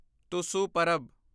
Tusu Purab